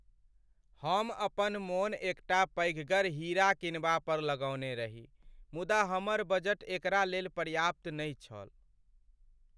हम अपन मोन एकटा पैघगर हीरा किनबा पर लगौने रही मुदा हमर बजट एकरा लेल पर्याप्त नहि छल।